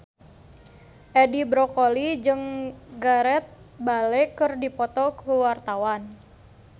Edi Brokoli jeung Gareth Bale keur dipoto ku wartawan